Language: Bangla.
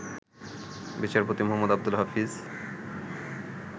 বিচারপতি মোহাম্মদ আব্দুল হাফিজ